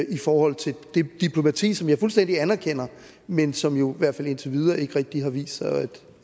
i forhold til det diplomati som jeg fuldstændig anerkender men som jo i hvert fald indtil videre ikke rigtig har vist sig